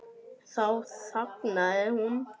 Þá þagnaði hún.